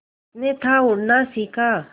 उसने था उड़ना सिखा